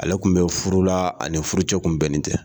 Ale kun bɛ furu la ani furu cɛ kun bɛnnen tɛ.